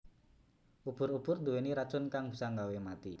Ubur ubur nduweni racun kang bisa nggawe mati